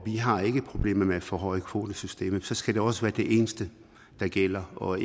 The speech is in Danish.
har ikke problemer med at forhøje kvotesystemet men så skal det også være det eneste der gælder og